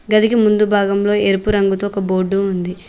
గదికి ముందు భాగంలో ఎరుపు రంగుతో ఒక బోర్డు ఉంది.